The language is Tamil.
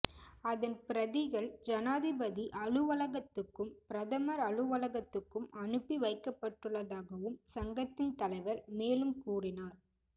அதன் பிரதிகள் ஜனாதிபதி அலுவலகத்துக்கும் பிரதமர் அலுவலகத்துக்கும் அனுப்பி வைக்கப்பட்டுள்ளதாகவும் சங்கத்தின் தலைவர் மேலும் கூறினார்